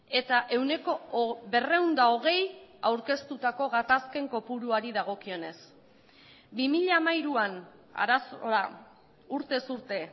eta ehuneko berrehun eta hogei aurkeztutako gatazken kopuruari dagokionez bi mila hamairuan arazoa urtez urte